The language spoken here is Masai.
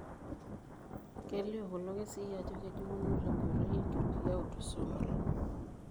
Kelio kulo kesii ajo kejung'uno tenkoitoi enkitoria eautosomal.